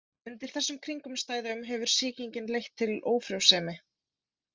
Undir þessum kringumstæðum hefur sýkingin leitt til ófrjósemi.